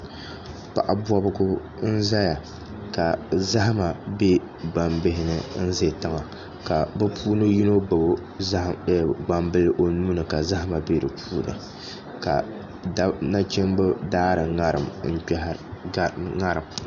Paɣa bobgu n ʒɛya ka zahama bɛ gbambihi ni n ʒɛ tiŋa ka bi puuni yino gbubi gbambili o nuuni ka zaham bɛ dinni ka nachimbi daari ŋarim n kpihara